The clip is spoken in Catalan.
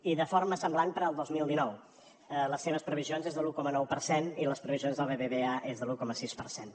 i de forma semblant per al dos mil dinou les seves previsions són de l’un coma nou per cent i les previsions del bbva són de l’un coma sis per cent